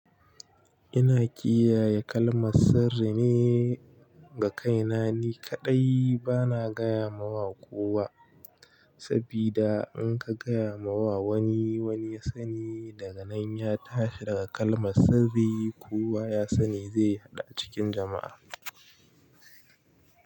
Ina kiyaye kalmar sirri ne ga kaina ni kaɗai bana gaya mawa kowa, sabida in ka gaya ma wa wani, wani ya sani daga nan ya tashi daga kalmar sirri kowa ya sani zai haɗu a cikin jama'a.